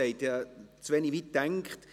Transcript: Ich habe zu wenig weit gedacht.